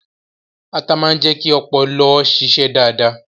Atá máa ń jẹ́ kí ọpọlọ ó ṣíṣe dáadáa